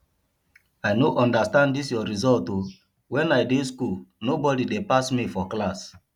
i no understand dis your result oo wen i dey school nobody dey pass me for class